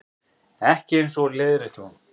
Ekki eins og, leiðrétti hún.